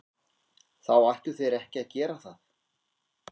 Þá ættu þeir ekki að gera það.